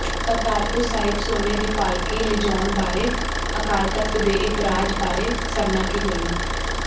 ਕਰਤਾਰਪੁਰ ਸਾਹਿਬ ਸੋਨੇ ਦੀ ਪਾਲਕੀ ਲਿਜਾਉਣ ਬਾਰੇ ਅਕਾਲ ਤਖ਼ਤ ਦੇ ਇਤਰਾਜ਼ ਬਾਰੇ ਸਰਨਾ ਕੀ ਬੋਲੇ